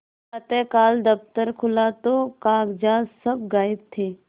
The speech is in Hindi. प्रातःकाल दफ्तर खुला तो कागजात सब गायब थे